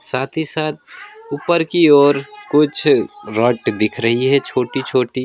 साथ ही साथ ऊपर की ओर कुछ रॉड दिख रही है छोटी छोटी।